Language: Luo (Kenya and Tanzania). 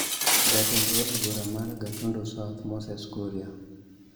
Jatend od bura mar Gatundu South Moses Kuria.